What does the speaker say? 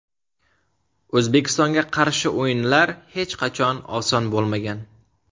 O‘zbekistonga qarshi o‘yinlar hech qachon oson bo‘lmagan.